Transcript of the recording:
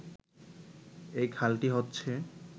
এই খালটি হচ্ছে